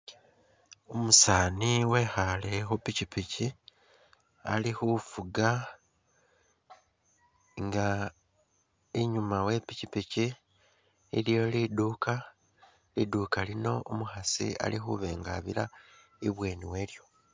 Umusani wekhale khupikyipikyi ali’khufuga inga inyuma we pikyipikyi iliyo liduka , liduka lino umukhasi ali’khuba inga abira ibweni walyo .